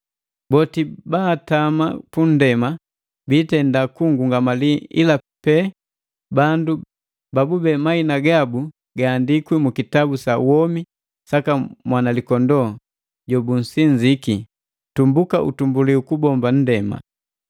Boti baatama punndema biitenda kunngungamali ila pena bandu babube mahina gabu gahandikwi mu kitabu sa womi saka mwanalikondoo jobunsinziki tumbuka utumbuli ukubomba nndema.